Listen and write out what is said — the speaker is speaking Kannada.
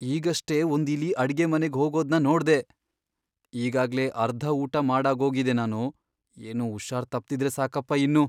ಈಗಷ್ಟೇ ಒಂದ್ ಇಲಿ ಅಡ್ಗೆಮನೆಗ್ ಹೋಗೋದ್ನ ನೋಡ್ದೆ. ಈಗಾಗ್ಲೇ ಅರ್ಧ ಊಟ ಮಾಡಾಗೋಗಿದೆ ನಾನು. ಏನೂ ಹುಷಾರ್ ತಪ್ದಿದ್ರೆ ಸಾಕಪ್ಪ ಇನ್ನು!